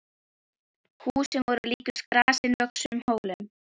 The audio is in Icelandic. Húsin voru líkust grasi vöxnum hólum.